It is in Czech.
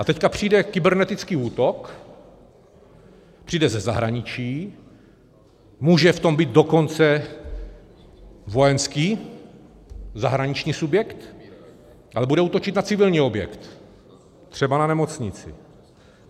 A teď přijde kybernetický útok, přijde ze zahraničí, může v tom být dokonce vojenský zahraniční subjekt, ale bude útočit na civilní objekt, třeba na nemocnici.